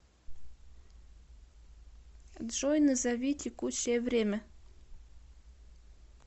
джой назови текущее время